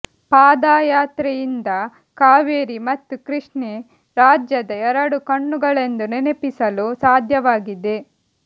ಪಾದಯಾತ್ರೆಯಿಂದ ಕಾವೇರಿ ಮತ್ತು ಕೃಷ್ಣೆ ರಾಜ್ಯದ ಎರಡು ಕಣ್ಣುಗಳೆಂದು ನೆನಪಿಸಲು ಸಾಧ್ಯವಾಗಿದೆ